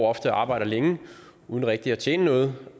ofte og arbejder længe uden rigtig at tjene noget